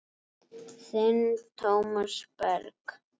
Þinn Tómas Berg.